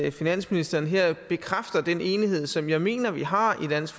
at finansministeren her bekræfter den enighed som jeg mener vi har i dansk